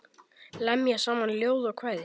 Lemja saman ljóð og kvæði.